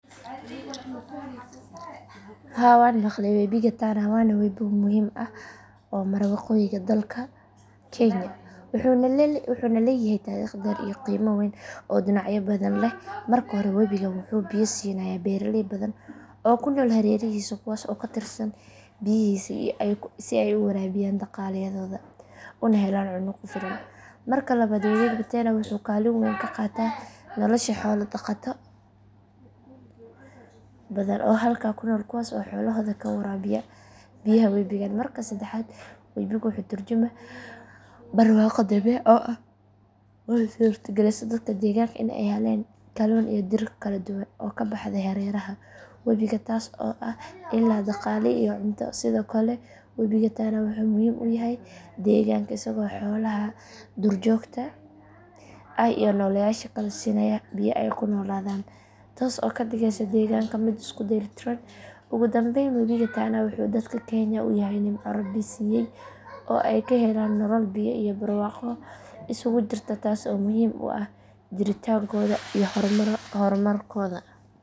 Haa waan maqlay webiga tana waa webi muhiim ah oo mara waqooyiga dalka kenya wuxuuna leeyahay taariikh dheer iyo qiimo weyn oo dhinacyo badan leh marka hore webigan wuxuu biyo siinayaa beeraley badan oo ku nool hareerihiisa kuwaas oo ku tiirsan biyihiisa si ay u waraabiyaan dalagyadooda una helaan cunno ku filan marka labaad webiga tana wuxuu kaalin weyn ka qaataa nolosha xoolo dhaqato badan oo halkaa ku nool kuwaas oo xoolahooda ku waraabiya biyaha webigan marka saddexaad webiga wuxuu ka tarjumayaa barwaaqo dabiici ah oo u suurtagelisa dadka deegaanka in ay helaan kalluun iyo dhir kala duwan oo ka baxda hareeraha webiga taas oo ah il dhaqaale iyo cunto sidoo kale webiga tana wuxuu muhiim u yahay deegaanka isagoo xoolaha duurjoogta ah iyo nooleyaasha kale siinaya biyo ay ku noolaadaan taas oo ka dhigaysa deegaanka mid isku dheelitiran ugudambeyn webiga tana wuxuu dadka kenya u yahay nimco rabbi siiyay oo ay ka helaan nolol biyo iyo barwaaqo isugu jirta taasoo muhiim u ah jiritaankooda iyo horumarkooda.